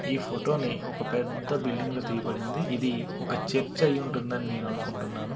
ఈ ఫోటో ని ఒక పెద్ద బిల్డింగ్ లో తీయబడింది ఇది ఒక చర్చ్ అయి ఉంటుందని నేను అనుకుంటున్నాను.